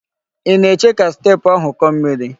Ị na-eche ka steepụ ahụ kọọ miri?